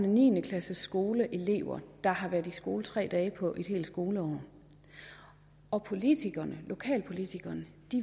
og niende klassesskoleelever der har været i skole tre dage på et helt skoleår og politikerne lokalpolitikerne